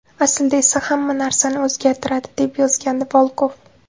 Aslida esa u hamma narsani o‘zgartiradi”, deb yozgandi Volkov.